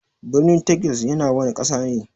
Birnin Texas yana wana Ƙasa ne?